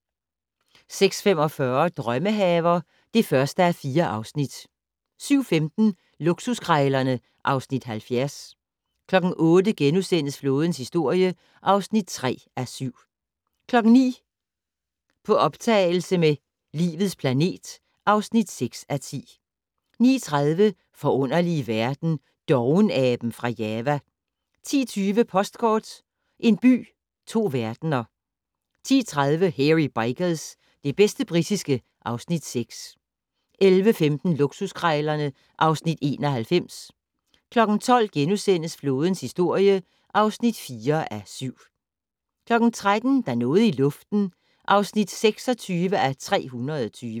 06:45: Drømmehaver (1:4) 07:15: Luksuskrejlerne (Afs. 70) 08:00: Flådens historie (3:7)* 09:00: På optagelse med "Livets planet" (6:10) 09:30: Forunderlige verden - Dovenaben fra Java 10:20: Postkort: En by, to verdener 10:30: Hairy Bikers - det bedste britiske (Afs. 6) 11:15: Luksuskrejlerne (Afs. 91) 12:00: Flådens historie (4:7)* 13:00: Der er noget i luften (26:320)